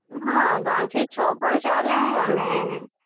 હા ત્રણ થી છ પણ ચાલે અને